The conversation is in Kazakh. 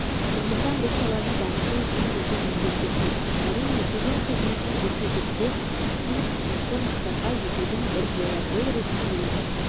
сондықтан бұл саланы дамыту үшін үлкен міндеттер тұр әрине кеден қызметін жетілдіре түсу осы мақсатқа жетудің бір жолы бұл ретте еліміз